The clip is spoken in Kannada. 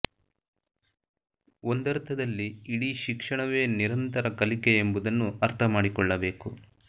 ಒಂದರ್ಥದಲ್ಲಿ ಇಡೀ ಶಿಕ್ಷಣವೇ ನಿರಂತರ ಕಲಿಕೆ ಎಂಬುದನ್ನು ಅರ್ಥ ಮಾಡಿಕೊಳ್ಳಬೇಕು